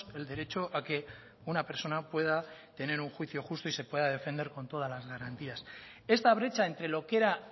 el derecho a que una persona pueda tener un juicio justo y se pueda defender con todas las garantías esta brecha entre lo que era